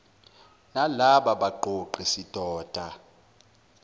nalaba baqoqi sidoda